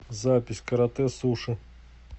запись каратэ суши